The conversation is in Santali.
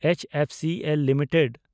H F C L limited